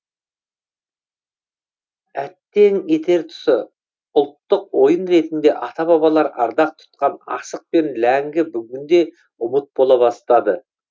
әттең етер тұсы ұлттық ойын ретінде ата бабалар ардақ тұтқан асық пен ләңгі бүгінде ұмыт бола бастады